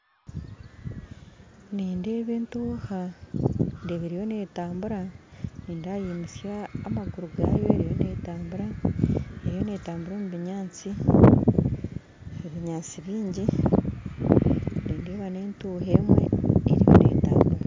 Nindeeba etuuha eriyo netambuura nindeeba yimutsya amaguru gaayo erimu netambuura omu binyaatsi bingi nindeeba netuuha emwe erimu netambuura